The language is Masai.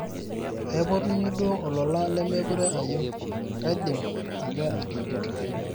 aipotunye duo olola lemekure ayieu, kaidim ake atujuto